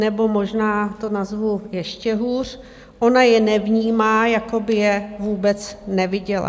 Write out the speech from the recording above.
Nebo možná to nazvu ještě hůř - ona je nevnímá, jako by je vůbec neviděla.